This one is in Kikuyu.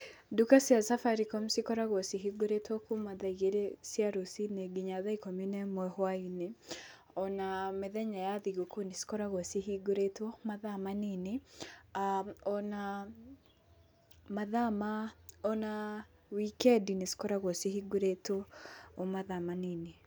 Ndũka cia Safaricom cikoragwo cihũngĩrĩtwo kuma thaa igĩrĩ cia rũciinĩ nginya thaa ikũmi na ĩmwe hwainĩ ona mĩthenya ya thigũkũ nĩ cikoragwo cihũngĩrĩtwo mathaa manini, ona mathaa, ona wikendi nĩ cikoragwo cihũngĩrĩtwo o mathaa manini.